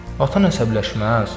Atan əsəbləşməz.